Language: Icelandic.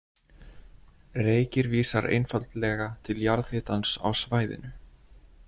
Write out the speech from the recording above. Reykir vísar einfaldlega til jarðhitans á svæðinu.